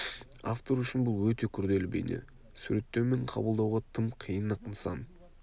автор үшін бүл өте күрделі бейне суреттеу мен қабылдауға тым қиын-ақ нысан